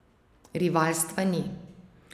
Rivalstva ni.